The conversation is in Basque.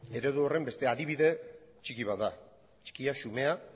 eredu horren beste adibide txiki bat da txikia xumea